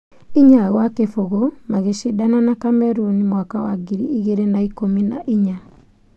Inya gwa kĩbũgũ magĩcindana na Cameroon mwaka wa ngiri igĩrĩ na ikũmi na inya.